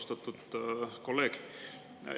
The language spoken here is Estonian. Austatud kolleeg!